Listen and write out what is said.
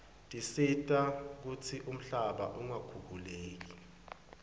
tisita kutsi umhlaba ungakhukhuleki